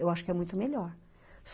Eu acho que é muito melhor.